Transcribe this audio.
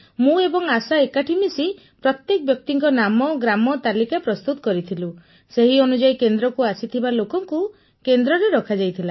ମୁଁ ଏବଂ ଆଶା ଏକାଠି ମିଶି ପ୍ରତ୍ୟେକ ବ୍ୟକ୍ତିଙ୍କ ନାମ ଓ ଗ୍ରାମ ତାଲିକା ପ୍ରସ୍ତୁତ କରିଥିଲୁ ସେହି ଅନୁଯାୟୀ କେନ୍ଦ୍ରକୁ ଆସିଥିବା ଲୋକଙ୍କୁ କେନ୍ଦ୍ରରେ ରଖାଯାଇଥିଲା